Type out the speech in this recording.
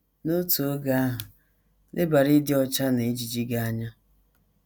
N’otu oge ahụ, lebara ịdị ọcha na ejiji gị anya.